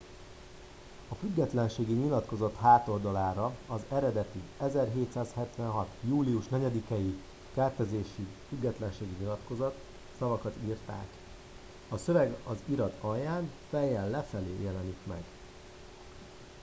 a függetlenségi nyilatkozat hátoldalára a az eredeti 1776. július 4 i keltezésű függetlenségi nyilatkozat szavakat írták a szöveg az irat alján fejjel lefelé jelenik meg